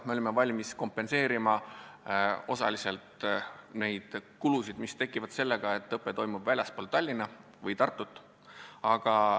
Me olime valmis kompenseerima osaliselt neid kulusid, mis tekivad sellega, et õpe toimub väljaspool Tallinna või Tartut.